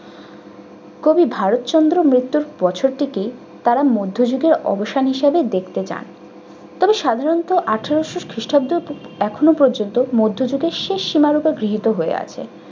কবি ভারতচন্দ্রের মৃত্যুর বছর থেকেই তারা মধ্যযুগের অবসান হিসেবে দেখতে চান তবে সাধারণত আঠারশো খ্রিষ্টাব্দ থেকে~ এখনো পর্যন্ত মধ্যযুগের শেষ সীমারেখা গৃহীত হয়ে আছে।